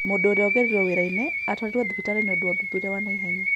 Mũndũ ũrĩa wagũrarĩirio wĩra-inĩ atwarirwo thibitarĩ nĩũndũ wa ũthuthuria wa naihenya